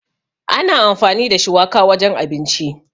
Ana amfani da shuwaka wajen abinci.